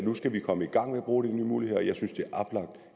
nu skal komme i gang med at bruge de nye muligheder og jeg synes det